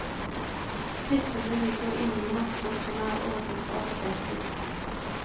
Klippene ligger inne i mapper som er ordnet alfabetisk.